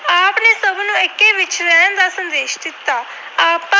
ਦਾ ਸੰਦੇਸ਼ ਦਿੱਤਾ।